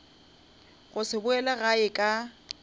go se boele gae ka